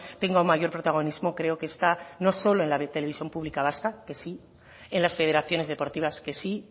tenga un mayor protagonismo creo que está no solo en la televisión pública vasca que sí en las federaciones deportivas que sí